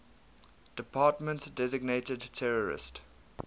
department designated terrorist